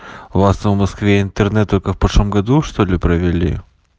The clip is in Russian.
у вас в москве интернет только в прошлом году что-ли провели